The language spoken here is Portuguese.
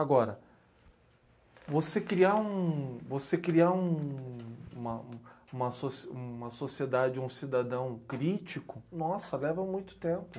Agora, você criar um você criar um uma um uma soci uma sociedade, um cidadão crítico, nossa, leva muito tempo.